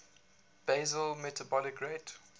basal metabolic rate